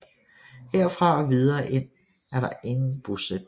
Herfra og videre ind er der ingen bosætning